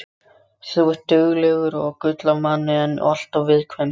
Þú ert duglegur og gull af manni en alltof viðkvæmur.